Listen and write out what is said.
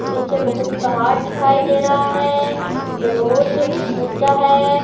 पीछे बहुत पहाड़ दिखाई दे रहा है जो बहुत ऊंचा है।